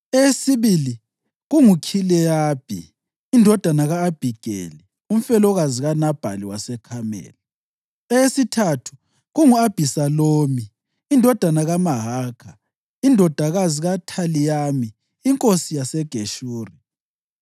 eyesibili kunguKhileyabi indodana ka-Abhigeli umfelokazi kaNabhali waseKhameli; eyesithathu kungu-Abhisalomu indodana kaMahakha indodakazi kaThalimayi inkosi yaseGeshuri;